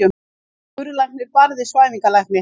Skurðlæknir barði svæfingalækni